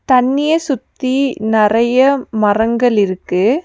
தண்ணிய சுத்தி நறைய மரங்கள் இருக்கு.